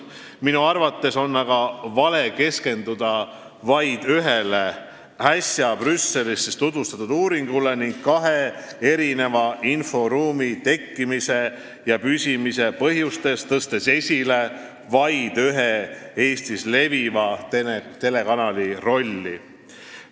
Minu arvates on aga vale keskenduda ühele äsja Brüsselis tutvustatud uuringule ning kahe erineva inforuumi tekkimise ja püsimise põhjustes tõsta esile vaid ühe Eestis leviva telekanali rolli.